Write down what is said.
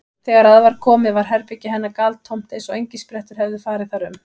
Þegar að var komið var herbergi hennar galtómt eins og engisprettur hefðu farið þar um.